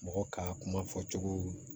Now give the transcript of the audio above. Mɔgɔ ka kuma fɔcogo